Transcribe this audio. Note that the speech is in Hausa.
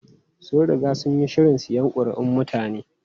Sun riga sun yi shirin siyan kuri'un mutane.